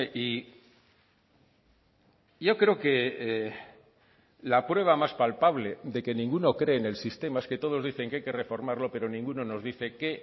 y yo creo que la prueba más palpable de que ninguno cree en el sistema es que todos dicen que hay que reformarlo pero ninguno nos dice qué